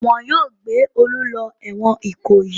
Wọn yóò gbé Olú lọ ẹ̀wọ̀n Ìkòyí.